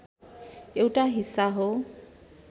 एउटा हिस्सा हो।